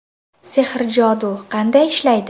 Sehr-jodu qanday ishlaydi?